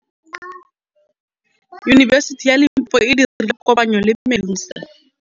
Yunibesiti ya Limpopo e dirile kopanyô le MEDUNSA.